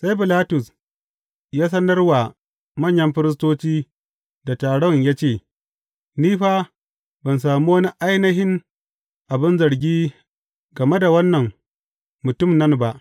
Sai Bilatus ya sanar wa manyan firistoci da taron ya ce, Ni fa, ban sami wani ainihin abin zargi game wannan mutum nan ba.